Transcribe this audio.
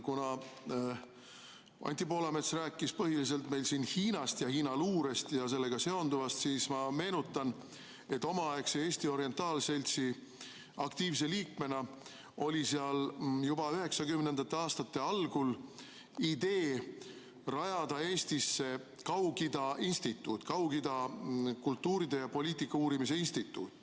Kuna Anti Poolamets rääkis põhiliselt Hiinast, Hiina luurest ja sellega seonduvast, siis ma meenutan, omaaegse Eesti orientaalseltsi aktiivse liikmena, et seal oli juba 1990. aastate algul idee rajada Eestisse Kaug-Ida instituut, Kaug-Ida kultuuri ja poliitika uurimise instituut.